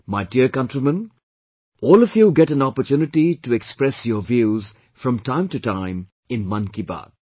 My dear countrymen, all of you get an opportunity to express your views from time to time in 'Mann Ki Baat'